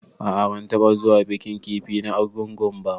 A'a ban taba zuwa bikin kifi na argungu ba.